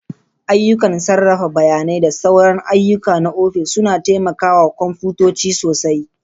Ayyukan sarrafa bayanai da sauran ayyuka na ofis suna taimaka wa kwamfutoci sosai.